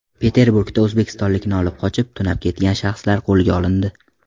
Peterburgda o‘zbekistonlikni olib qochib, tunab ketgan shaxslar qo‘lga olindi.